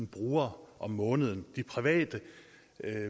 brugere om måneden de private